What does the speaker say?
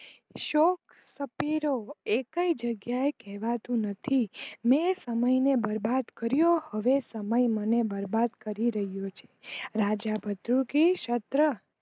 શોખ સપિરો એકેય જગ્યા એ કહેવાતું નથી, ને સમય ને બરબાદ કર્યો હવે સમય મને બરબાદ કરી રહીયુ છે રાજા બદૃગી સત્ર